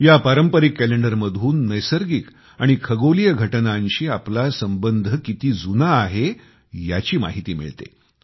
ह्या पारंपरिक कॅलेंडरमधून नैसर्गिक आणि खगोलिय घटनांशी आपला संबंध किती जुना आहे याची माहिती मिळते